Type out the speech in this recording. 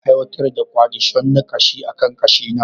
Aiwatar da kwadishon na gashi akan gashina.